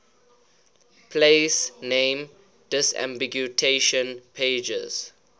place name disambiguation pages